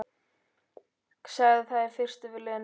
Sagði það í fyrstu við Lenu.